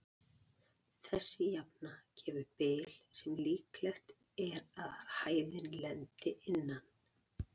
Þessi jafna gefur bil sem líklegt er að hæðin lendi innan.